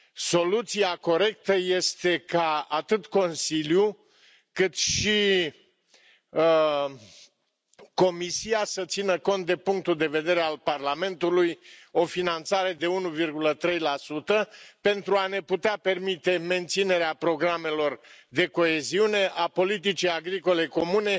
Soluția corectă este ca atât Consiliul, cât și Comisia să țină cont de punctul de vedere al Parlamentului o finanțare de 1,3 pentru a ne putea permite menținerea programelor de coeziune a politicii agricole comune